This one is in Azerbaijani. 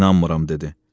İnanmıram dedi.